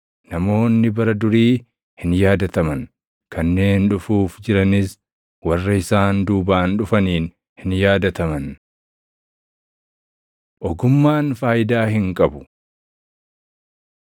Namoonni bara durii hin yaadataman; kanneen dhufuuf jiranis // warra isaan duubaan dhufaniin hin yaadataman. Ogummaan Faayidaa Hin qabu